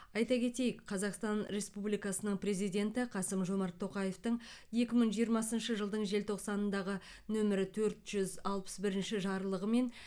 айта кетейік қазақстан республикасының президенті қасым жомарт тоқаевтың екі мың жиырмасыншы жылдың желтоқсанындағы нөмірі төрт жүз алпыс бірінші жарлығымен